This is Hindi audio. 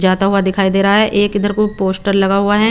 जाता हुए दिखाई दे रहे है एक इधर को पोस्टर लगा हुआ है।